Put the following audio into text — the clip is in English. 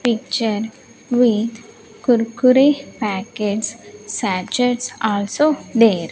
picture with kurkure packets sachets also there.